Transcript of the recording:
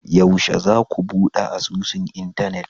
yaushe zaku bude asusun Internet?